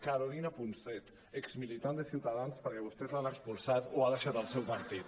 carolina punset exmilitant de ciutadans perquè vostès l’han expulsat o ha deixat el seu partit